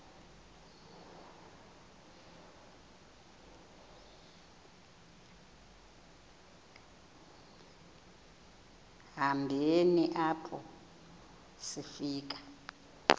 hambeni apho sifika